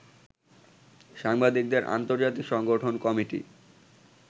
সাংবাদিকদের আন্তর্জাতিক সংগঠন কমিটি